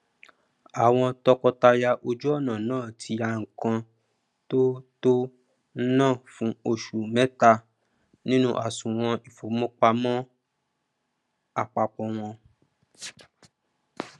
àwọn tọkọtaya ojú ọnà náà tí yá ńkan tó tó ná fún osu mẹta nínú àsùwọn ìfowópamọn àpápọ wọn